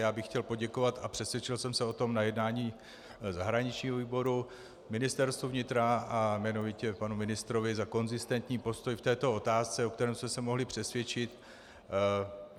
Já bych chtěl poděkovat - a přesvědčil jsem se o tom na jednání zahraničního výboru - Ministerstvu vnitra a jmenovitě panu ministrovi za konzistentní postoj v této otázce, o kterém jsem se mohli přesvědčit.